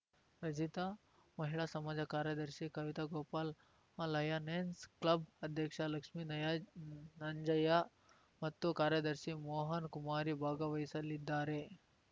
ರಚಿತ ಮಹಿಳಾ ಸಮಾಜದ ಕಾರ್ಯದರ್ಶಿ ಕವಿತಾ ಗೋಪಾಲ್‌ ಲಯನೆಸ್‌ ಕ್ಲಬ್‌ ಅಧ್ಯಕ್ಷ ಲಕ್ಷ್ಮೀ ನಂಜಯ್ಯ ಮತ್ತು ಕಾರ್ಯದರ್ಶಿ ಮೋಹನ್‌ ಕುಮಾರಿ ಭಾಗವಹಿಸಲಿದ್ದಾರೆ